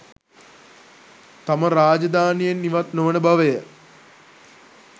තම රාජධානියෙන් ඉවත් නොවන බවය